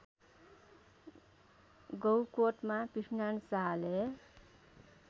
गौकोटमा पृथ्वीनारायण शाहले